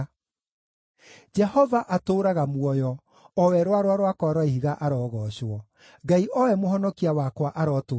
Jehova atũũraga muoyo! O we Rwaro rwakwa rwa Ihiga arogoocwo! Ngai o we Mũhonokia wakwa arotũgĩrio!